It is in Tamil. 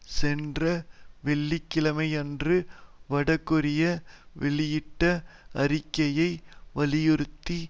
சென்ற வெள்ளி கிழமையன்று வடகொரியா வெளியிட்ட அறிக்கையை வலியுறுத்தி